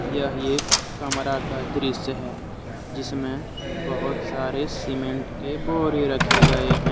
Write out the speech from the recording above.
यह एक कमरा का दृश्य है जिसमें बहोत सारे सीमेंट के बोरे रखे गए हैं।